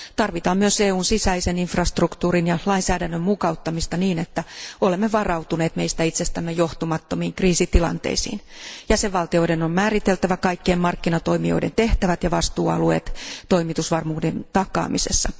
Tarvitaan myös EUn sisäisen infrastruktuurin ja lainsäädännön mukauttamista niin, että olemme varautuneet meistä itsestämme johtumattomiin kriisitilanteisiin. Jäsenvaltioiden on määriteltävä kaikkien markkinatoimijoiden tehtävät ja vastuualueet toimitusvarmuuden takaamisessa.